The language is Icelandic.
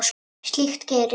Slíkt gerist.